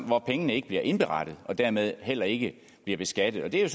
hvor pengene ikke bliver indberettet og dermed heller ikke bliver beskattet det er